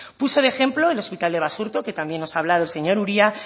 puse de ejemplo el hospital de basurto que también nos ha hablado el señor uria